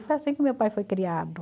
foi assim que o meu pai foi criado.